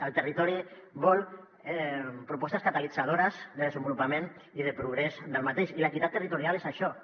el territori vol propostes catalitzadores de desenvolupament i de progrés d’aquest i l’equitat territorial és això també